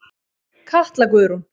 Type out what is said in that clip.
Katla Guðrún.